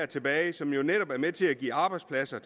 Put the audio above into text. tilbage som jo netop er med til at give arbejdspladser